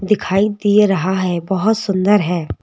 दिखाई दे रहा है बहुत सुंदर है।